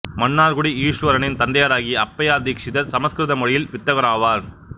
மன்னார்குடி ஈசுவரனின் தந்தையாராகிய அப்பையா தீக்சிதர் சமசுகிருத மொழியில் வித்தகராவார்